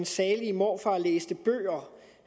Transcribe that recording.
salig morfar læste bøger